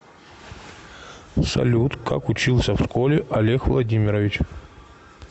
салют как учился в школе олег владимирович